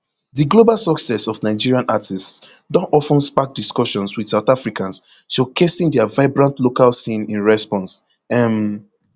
di global success of nigerian artists don of ten spark discussions wit south africans showcasing dia vibrant local scene in response um